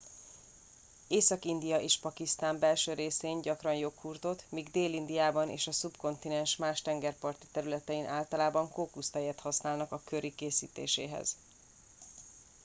észak india és pakisztán belső részén gyakran joghurtot míg dél indiában és a szubkontinens más tengerparti területein általában kókusztejet használnak a curry készítéséhez